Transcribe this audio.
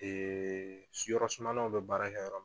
yɔrɔ sumalaw bɛ baara kɛ yɔrɔ min na